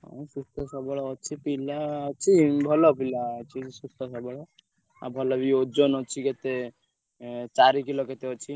ହଁ ସୁସ୍ଥ ସବଳ ଅଛି ପିଲା ଅଛି ଭଲ ଅଛି ପିଲା ସୁସ୍ଥ ସବଳ ଆଉ ଭଲ ବି ଓଜନ ଅଛି କେତେ ଏଁ ଚାରିକିଲ କେତେ ଅଛି।